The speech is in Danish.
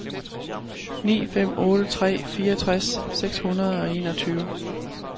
ni fem otte tre fireogtres seks hundrede og enogtyve